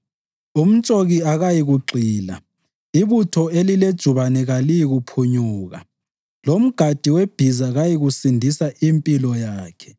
Umtshoki akayikugxila, ibutho elilejubane kaliyikuphunyuka lomgadi webhiza kayikusindisa impilo yakhe.